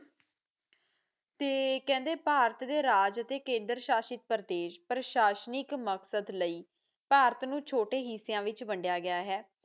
ਤੇ ਕਹਿੰਦੇ ਭਾਰਤ ਦੇ ਰਾਜ ਤੇ ਕੇਂਦਰ ਸ਼ਾਸਿਤ ਪ੍ਰਦੇਸ ਪ੍ਰਸ਼ਾਨਿਕ ਮਕਸਦ ਲਈ ਭਾਰਤ ਨੂੰ ਛੋਟੇ ਹਿੰਸਾ ਵਿੱਚ ਵਡਿਆ ਗਿਆ ਹੈ